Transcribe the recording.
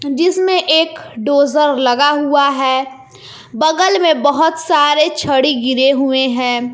जिसमें एक डोजर लगा हुआ है बगल में बहुत सारे छड़ी गिरे हुए हैं।